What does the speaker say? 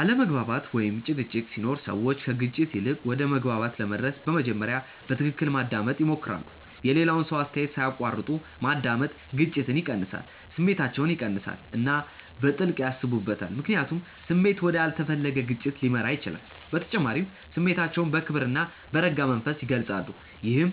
አለመግባባት ወይም ጭቅጭቅ ሲኖር ሰዎች ከግጭት ይልቅ ወደ መግባባት ለመድረስ በመጀመሪያ በትክክል ማዳመጥ ይሞክራሉ። የሌላውን ሰው አስተያየት ሳይቋረጥ ማዳመጥ ግጭትን ይቀንሳል። ስሜታቸውን ይቀንሳሉ እና በጥልቅ ያስቡበታል፣ ምክንያቱም ስሜት ወደ ያልተፈለገ ግጭት ሊመራ ይችላል። በተጨማሪም ስሜታቸውን በክብር እና በረጋ መንፈስ ይገልጻሉ፣ ይህም